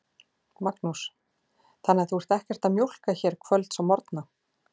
Magnús: Þannig að þú ert ekkert að mjólka hér kvölds og morgna?